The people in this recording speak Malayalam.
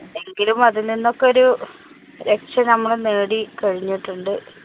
എങ്കിലും അതില്‍ നിന്നൊക്കെ ഒരു രക്ഷ നമ്മളു നേടി കഴിഞ്ഞിട്ടുണ്ട്.